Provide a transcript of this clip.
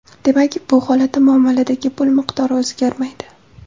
Demak, bu holatda muomaladagi pul miqdori o‘zgarmaydi.